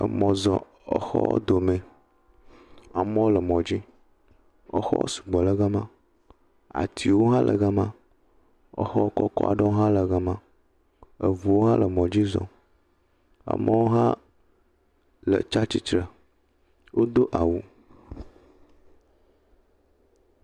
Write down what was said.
Emɔ zɔ exɔwo domẽ, amewo le mɔdzi, exɔwo sugbɔ le gama, atiwo ha le gama, exɔkɔkɔ aɖewo ha le gama, eʋuwo ha le mɔ dzi zɔm, amewo ha tsa tsitre, wódo awu.